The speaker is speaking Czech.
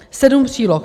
Sedm příloh.